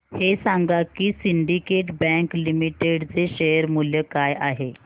हे सांगा की सिंडीकेट बँक लिमिटेड चे शेअर मूल्य काय आहे